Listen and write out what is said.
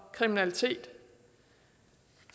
kriminalitet